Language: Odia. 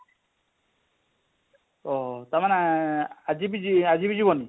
ଓହୋଃ ତାର ମାନେ ଆଜି ବି ଆଜି ବି ଯିବନି?